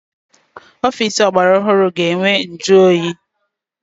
Ọfịịsi ọgbara ọhụrụ ga-enwe njụoyi.